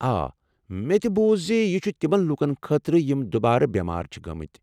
آ، مےٚ تہِ بوٗز زِ یہِ چھُ تمن لوٗکن خٲطرٕ یم دُبارٕ بٮ۪مار چھِ گٲمٕتۍ ۔